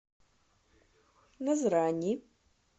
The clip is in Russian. назрани